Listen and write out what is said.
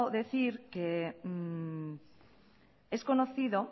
decir que es conocido